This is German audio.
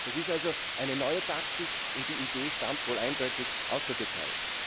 Das ist also eine neue Taktik, und die Idee stammt wohl eindeutig aus der Türkei.